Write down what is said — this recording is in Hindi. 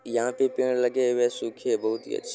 यहां पे पेड़ लगे हुए सुखे बहुत ही अच्छे--